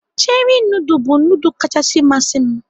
Cheri nudul bụ nudul kachasị masị m.